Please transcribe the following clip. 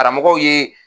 Karamɔgɔw ye